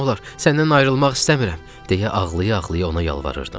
Səndən ayrılmaq istəmirəm, deyə ağlaya-ağlaya ona yalvarırdım.